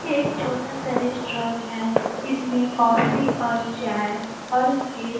ये एक छोटा सा रेस्ट्रॉन है। इसमें कॉफी और चाय और केक --